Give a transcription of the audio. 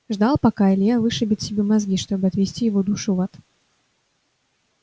ждал пока илья вышибет себе мозги чтобы отвести его душу в ад